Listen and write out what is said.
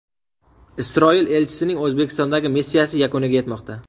Isroil elchisining O‘zbekistondagi missiyasi yakuniga yetmoqda.